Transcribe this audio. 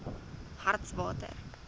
hartswater